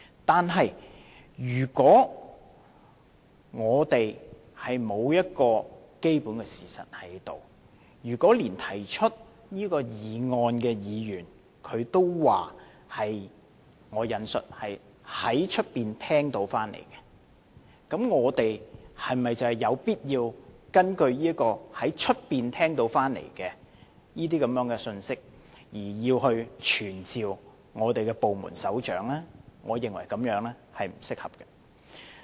但是，如果我們沒有基本的事實，連提出這項議案的議員也說是"在外面聽到的"，我們是否有必要根據這個在外面聽到的信息，而傳召部門首長到立法會呢？